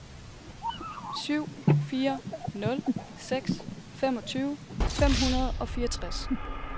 syv fire nul seks femogtyve fem hundrede og fireogtres